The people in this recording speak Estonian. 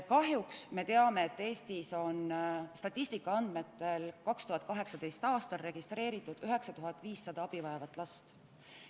Kahjuks me teame, et statistika järgi oli Eestis 2018. aastal registreeritud 9500 abivajavat last.